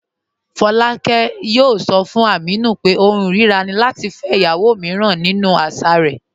Fọláàkẹ̀ yóò sọ̀ fún Ámínù pé ọ̀hùn irira ni lati fẹ́ ìyàwó míràn nínu àṣà rẹ̀.